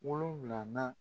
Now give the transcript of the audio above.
Wolonwulanan